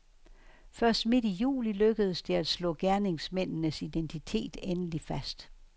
Først midt i juli lykkedes det at slå gerningsmændenes identitet endelig fast.